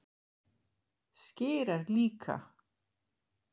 Skyr er líka